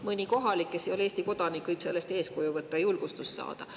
Mõni kohalik, kes ei ole Eesti kodanik, võib sellest eeskuju võtta, julgustust saada.